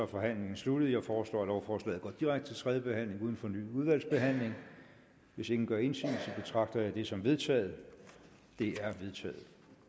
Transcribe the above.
forhandlingen sluttet jeg foreslår at lovforslaget går direkte videre til tredje behandling uden fornyet udvalgsbehandling hvis ingen gør indsigelse betragter jeg det som vedtaget det er vedtaget